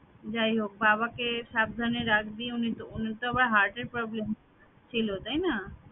যাই হোক বাবাকে সাবধানে রাখবি উনি ত উনি তো আবার heart এর problem ছিল তাই না